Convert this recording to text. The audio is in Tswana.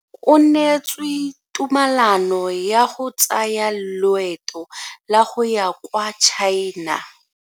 O neetswe tumalano ya go tsaya loeto la go ya kwa China.